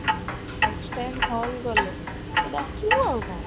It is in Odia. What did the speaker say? next time hall ଗଲେ ମତେ ଡାକିବୁ ଆଉ କ'ଣ